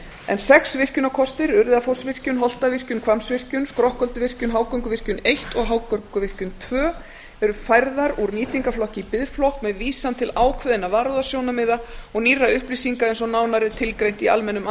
en sex virkjunarkostir urriðafossvirkjun holtavirkjun hvammsvirkjun skrokkölduvirkjun hágönguvirkjun eins og hágönguvirkjun tveir eru færðir úr nýtingarflokki í biðflokk með vísan til ákveðinna varúðarsjónarmiða og nýrra upplýsinga eins og nánar er tilgreint í almennum